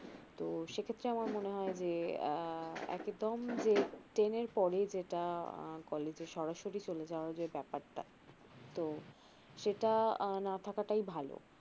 তো সে ক্ষেত্রে আমার মনে হয় যে আ একদম যে ten এর পরে যেটা college এ চলে যাওয়ার যে ব্যাপারটা তো সেটা না থাকাটাই ভালো